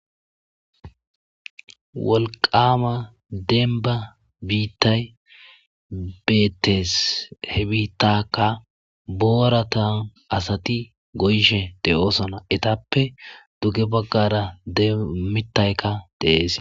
Wolqama denba biittay beettees he biittakka booratan asati goyshe de,oosona etappe dugge baggara demmittaykka deees.